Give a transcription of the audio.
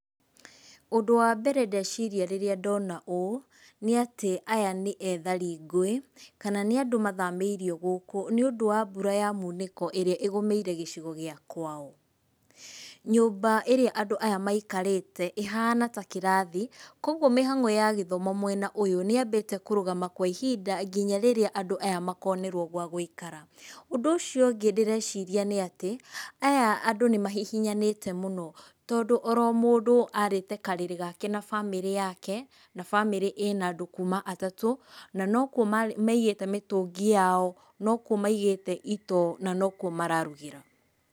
Ũndũ wambere ndeciria rĩrĩa ndona ũũ nĩatĩ aya nĩ ethari ngũĩ, kana nĩ andũ mathamĩirio gũkũ nĩũndũ wa mbura ya munĩko ĩrĩa ĩgũmĩire gĩcigo gĩa kwao. Nyũmba ĩrĩa andũ aya maikarĩte ĩhana ta kĩrathi kogwo mĩhang’o ya gĩthomo mwena ũyũ nĩyambĩte kũrũgama kwa ihinda nginya rĩrĩa andũ aya makonerwo gwa gũikara. Ũndũ ũcio ũngĩ ndĩreciria nĩatĩ, aya andũ nĩ mahihinyanĩte mũno tondũ oro mũndũ arĩĩte karĩrĩ gake na bamĩrĩ yake, na bamĩrĩ ĩna andũ kuuma atatũ, na nokwo marĩ, maigĩte mĩtũngi yao , nokwo maigĩte itoo na nokwo mararugĩra.